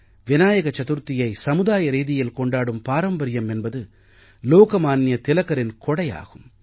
விநாயக சதுர்த்தியை சமுதாய ரீதியில் கொண்டாடும் பாரம்பரியம் என்பது லோகமான்ய திலகரின் கொடையாகும்